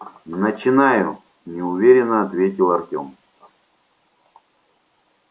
начинаю неуверенно ответил артём